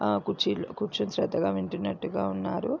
అ కుచ్చిలో కూర్చొని శ్రద్దగా వింటున్నట్టుగా ఉన్నారు.